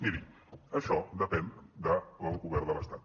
miri això depèn del govern de l’estat